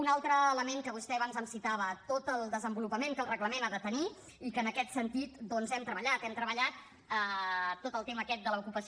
un altre element que vostè abans em citava tot el desenvolupament que el reglament ha de tenir i que en aquest sentit doncs hem treballat hem treballat tot el tema aquest de l’ocupació